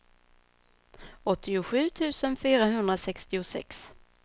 åttiosju tusen fyrahundrasextiosex